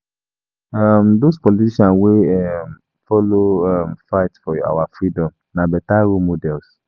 um Dose politicians wey um folo um fight for our freedom na beta role models.